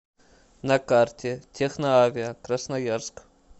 на карте техноавиа красноярск